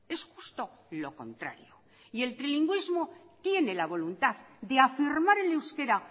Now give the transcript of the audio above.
es justo lo contrario y el trilingüismo tiene la voluntad de afirmar el euskera